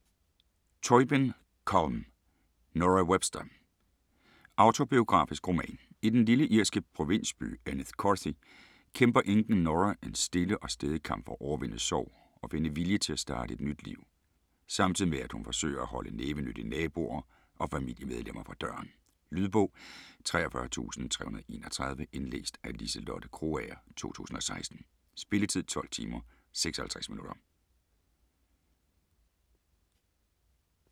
Tóibín, Colm: Nora Webster Autobiografisk roman. I den lille irske provinsby Enniscorthy kæmper enken Nora en stille og stædig kamp for at overvinde sorg og finde vilje til at starte et nyt liv, samtidig med at hun forsøger at holde nævenyttige naboer og familiemedlemmer fra døren. Lydbog 43331 Indlæst af Liselotte Krogager, 2016. Spilletid: 12 timer, 56 minutter.